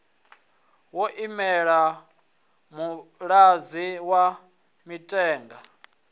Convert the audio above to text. yo imela muṅadzi wa mithenga